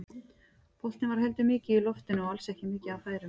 Boltinn var heldur mikið í loftinu og alls ekki mikið af færum.